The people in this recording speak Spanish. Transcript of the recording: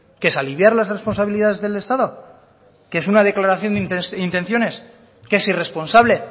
qué es aliviar las responsabilidades del estado qué es una declaración de intenciones qué es irresponsable